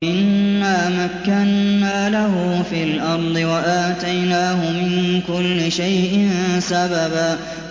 إِنَّا مَكَّنَّا لَهُ فِي الْأَرْضِ وَآتَيْنَاهُ مِن كُلِّ شَيْءٍ سَبَبًا